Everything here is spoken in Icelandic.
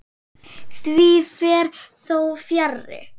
Því fer þó fjarri.